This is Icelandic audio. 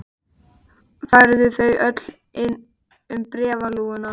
Færðu þau öll inn um bréfalúguna?